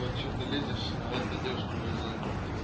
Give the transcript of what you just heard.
вот что-то лезешь а это девушка уже занята типа